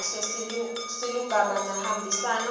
kahle silulumagama sihambisana